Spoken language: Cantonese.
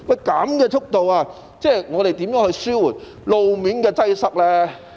這樣的速度，如何能夠紓緩路面的擠塞呢？